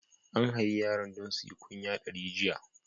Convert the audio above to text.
An hayi yaran don suyi kunya dari jiya.